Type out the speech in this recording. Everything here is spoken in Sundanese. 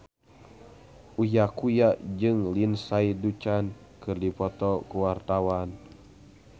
Uya Kuya jeung Lindsay Ducan keur dipoto ku wartawan